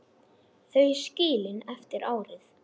Þau skilin eftir árið.